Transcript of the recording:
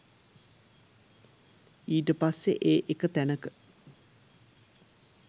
ඊට පස්සෙ ඒ එක තැනක